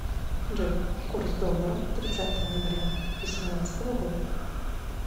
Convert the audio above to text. джой курс доллара тридцатое ноября восемнадцатого года